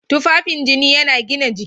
Tufafin jini yana gina jiki.